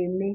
emé?